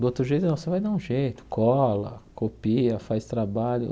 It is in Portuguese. Do outro jeito não, você vai dar um jeito, cola, copia, faz trabalho.